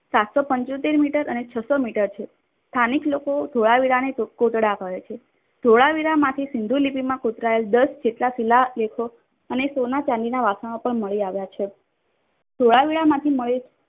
સાતસો પંચોતેર મીટર અને છસો મીટર છે. સ્થાનિક લોકો ધોળાવીરાને કોટડા કહે છે. ધોળાવીરા માંથી સિંધુ લિપિમાં કોતરાયેલ દસ જેટલા શીલા લેખો અને સોના ચંદીનાં વાસણો પણ મળી આવ્યા છે. ધોળાવીરામાંથી મળેલ